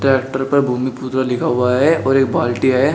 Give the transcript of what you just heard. Tractor पर भूमि पुत्रा लिखा हुआ है और एक बाल्टी है।